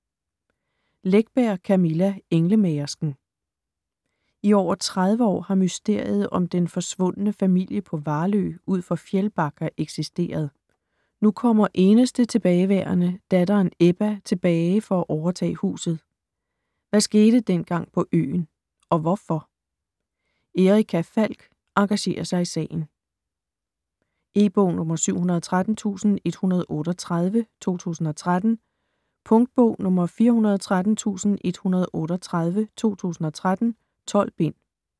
Läckberg, Camilla: Englemagersken I over 30 år har mysteriet om den forsvundne familie på Valö ud for Fjällbacka eksisteret. Nu kommer eneste tilbageværende, datteren Ebba, tilbage for at overtage huset. Hvad skete dengang på øen? Og hvorfor? Erica Falck engagerer sig i sagen. E-bog 713138 2013. Punktbog 413138 2013. 12 bind.